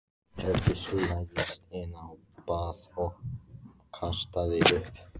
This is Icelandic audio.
Helgi staulaðist inn á bað og kastaði upp.